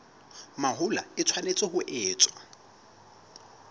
mahola e tshwanetse ho etswa